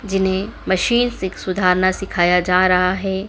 जिन्हें मशीन से सुधारना सिखाया जा रहा है।